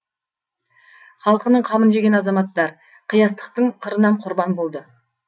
халқының қамын жеген азаматтар қиястықтың қырынан құрбан болды